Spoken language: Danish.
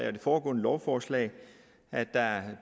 og de foregående lovforslag at der